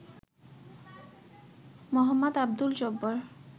Md Abdul Jabbar